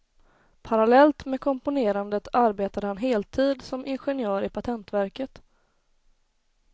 Parallellt med komponerandet arbetade han heltid som ingenjör i patentverket.